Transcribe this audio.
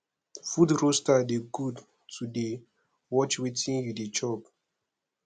food roaster de good to de watch wetin you de chop